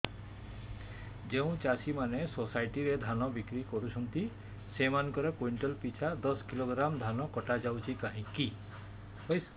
ଯେଉଁ ଚାଷୀ ମାନେ ସୋସାଇଟି ରେ ଧାନ ବିକ୍ରି କରୁଛନ୍ତି ସେମାନଙ୍କର କୁଇଣ୍ଟାଲ ପିଛା ଦଶ କିଲୋଗ୍ରାମ ଧାନ କଟା ଯାଉଛି କାହିଁକି